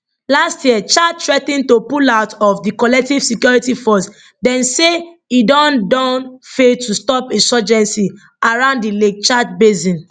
last year chad threa ten to pull out of di collective security force dem say e don don fail to stop insurgency around di lake chad basin